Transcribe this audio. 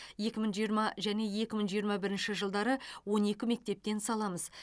екі мың жиырма және екі мың жиырма бірінші жылдары он екі мектептен саламыз